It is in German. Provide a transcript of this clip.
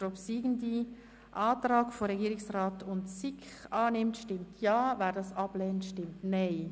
Wer den obsiegenden Antrag SiK und Regierungsrat annimmt, stimmt Ja, wer diesen ablehnt, stimmt Nein.